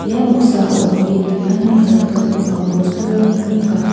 ia noksao git knana jakkalgipa bosturangko nika.